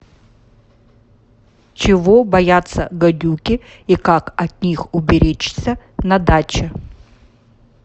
чего боятся гадюки и как от них уберечься на даче